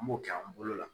An b'o kɛ an bolo la